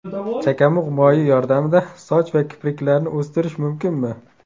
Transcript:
Chakamug‘ moyi yordamida soch va kipriklarni o‘stirish mumkinmi?.